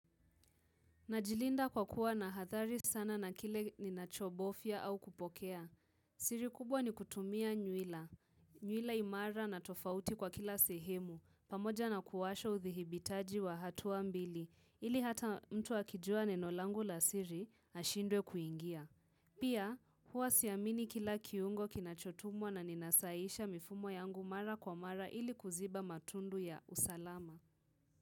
Najilinda kwa kuwa na hathari sana na kile ninachobofia au kupokea. Siri kubwa ni kutumia nyuila. Nyuila imara na tofauti kwa kila sehemu, pamoja na kuwasha uthihibitaji wa hatua mbili, ili hata mtu akijua neno langu la siri, ashindwe kuingia. Pia, huwa siamini kila kiungo kinachotumwa na ninasahihisha mifumo yangu mara kwa mara ili kuziba matundu ya usalama.